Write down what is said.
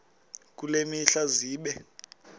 kule mihla zibe